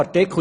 der SiK.